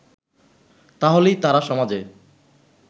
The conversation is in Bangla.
তাহলেই তারা সমাজে